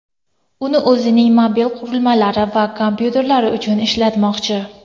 Uni o‘zining mobil qurilmalari va kompyuterlari uchun ishlatmoqchi.